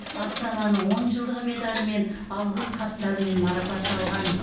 астананың он жылдығы медалімен алғыс хаттармен марапатталған